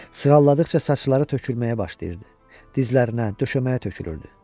Sığalladıqca saçları tökülməyə başlayırdı, dizlərinə, döşəməyə tökülürdü.